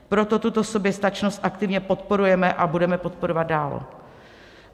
Proto tuto soběstačnost aktivně podporujeme a budeme podporovat dál.